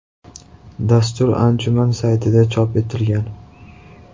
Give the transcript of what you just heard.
Dastur anjuman saytida chop etilgan .